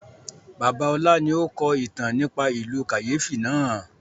Bàbá ọlá ni ó kọ ìtàn nípa ìlú kàyéfi náà